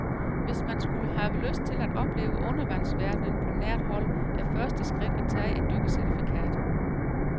Hvis man skulle have lyst til at opleve undervandsverdenen på nært hold, er første skridt at tage et dykkercertifikat.